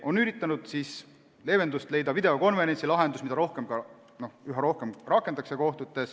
On üritatud leevendust leida videokonverentsilahendusega, mida kohtutes üha rohkem rakendatakse.